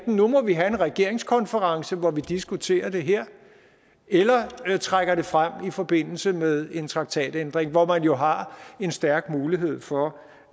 nu må vi have en regeringskonference hvor vi diskuterer det her eller trækker det frem i forbindelse med en traktatændring hvor man jo har en stærk mulighed for